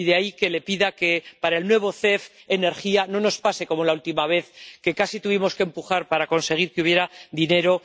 Y de ahí que le pida que, para el nuevo MEC Energía, no nos pase como la última vez, que casi tuvimos que empujar para conseguir que hubiera dinero